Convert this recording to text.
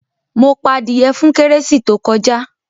Mo pa adìyẹ fún kérésì tó kọjá.